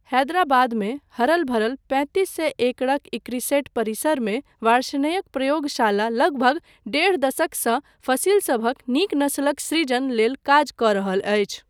हैदराबादमे हरल भरल पैतीस सए एकड़क इक्रिसेट परिसरमे वार्ष्णेयक प्रयोगशाला लगभग डेढ़ दशकसँ फसिलसभक नीक नसलक सृजन लेल काज कऽ रहल अछि।